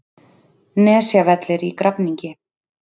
Nesjavelli í Grafningi.